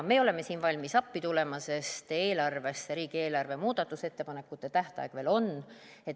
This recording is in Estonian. Me oleme siin valmis appi tulema, sest on riigieelarvesse muudatusettepanekute tegemise tähtaeg.